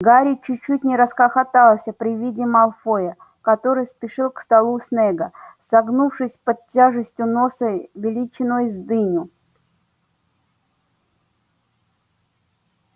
гарри чуть-чуть не расхохотался при виде малфоя который спешил к столу снегга согнувшись под тяжестью носа величиной с дыню